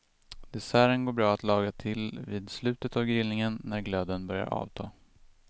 Desserten går bra att laga till vid slutet av grillningen när glöden börjar avta.